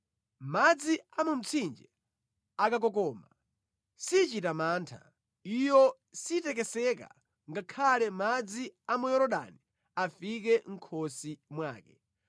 Madzi a mu mtsinje akakokoma, sichita mantha, iyo sitekeseka, ngakhale madzi a mu Yorodani afike mʼkhosi mwake.